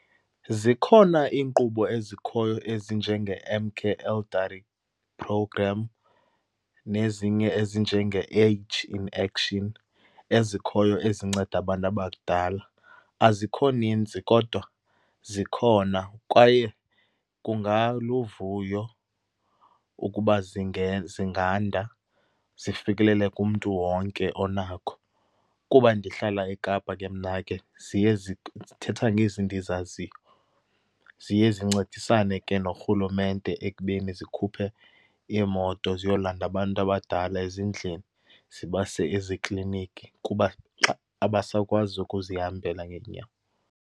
Zikhona iinkqubo ezikhoyo ezinjenge-M Care Elderly Program, nezinye ezinjenge-Age in Action, ezikhoyo ezinceda abantu abadala. Azikho ninzi kodwa zikhona kwaye kungaluvuyo ukuba zinganda zifikelele kumntu wonke onakho. Kuba ndihlala eKapa ke mna ke, ziye ndithetha ngezi ndizaziyo. Ziye zincedisane ke norhulumente ekubeni zikhuphe iimoto ziyolanda abantu abadala ezindlini zibase ezikliniki kuba, xa abasakwazi ukuzihambela ngeenyawo.